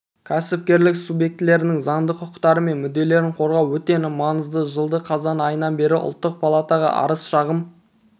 кәсіпкерлік субъектілерінің заңды құқықтары мен мүдделерін қорғау өте маңызды жылдың қазан айынан бері ұлттық палатаға арыз-шағым